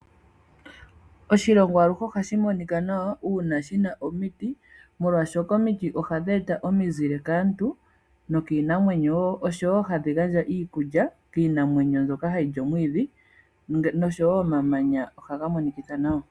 Oshilongo aluhe ohashi monika nawa uuna shi na omiti, molwashoka omiti ohadhi gandja omizile kaantu nookiinamwenyo, oshowo hadhi gandja iikulya kiinamwenyo mbyoka hayi li omwiidhi. Omamanya nago wo ohaga monikitha nawa.